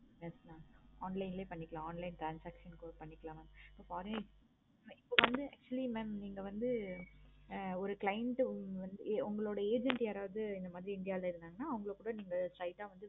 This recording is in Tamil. online லையே பண்ணிக்கலாம் online transaction கூட பண்ணிக்கலாம் mam yeah okay mam okay இப்போ வந்து actually நீங்க வந்து ஒரு client உங்களோட agent யாரவது இங்க வந்து எங்கயாவது இருந்தாங்கனா அவங்கள கூட நீங்க straight ஆஹ் வந்து